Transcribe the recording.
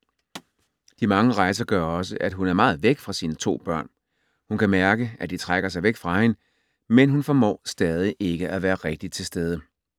De mange rejser gør også, at hun er meget væk fra sine to børn. Hun kan mærke, at de trækker sig væk fra hende, men hun formår stadig ikke at være rigtigt til stede.